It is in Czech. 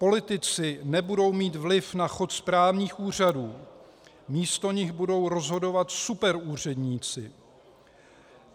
Politici nebudou mít vliv na chod správních úřadů, místo nich budou rozhodovat superúředníci.